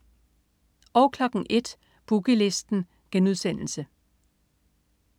01.00 Boogie Listen*